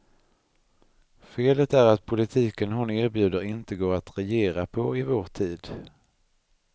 Felet är att politiken hon erbjuder inte går att regera på i vår tid.